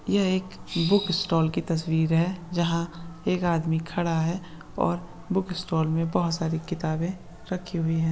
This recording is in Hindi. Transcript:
यह एक बुक स्टॉल की तस्वीर है| जहां एक आदमी खड़ा है और बुक स्टाल में बहुत सारी किताबें रखी हुई है।